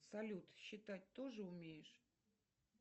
салют считать тоже умеешь